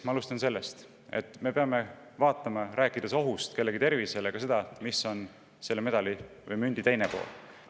Alustan sellest, et rääkides ohust kellegi tervisele, me peame vaatama ka seda, mis on selle medali või mündi teine pool.